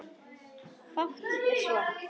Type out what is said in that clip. Fátt er svo.